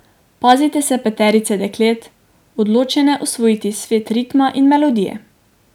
Pazite se peterice deklet, odločene osvojiti svet ritma in melodije.